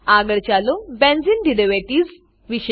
આગળ ચાલો benzene derivatives વિશે શીખીએ